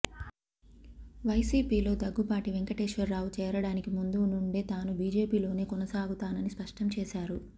వైసీపీలో దగ్గుబాటి వెంకటేశ్వరరావు చేరడానికి ముందు నుండే తాను బీజేపీలోనే కొనసాగుతానని స్పష్టం చేశారు